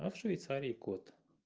а в швейцарии код